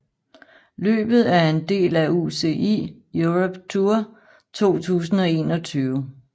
Løbet er en del af UCI Europe Tour 2021